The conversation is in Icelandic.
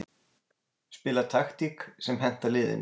Spila taktík sem hentar liðinu.